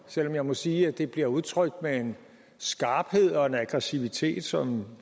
selv om jeg må sige at det bliver udtrykt med en skarphed og en aggressivitet som